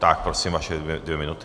Tak prosím vaše dvě minuty.